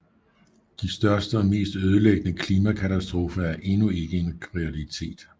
De største og mest ødelæggende klimakatastrofer er endnu ikke en realitet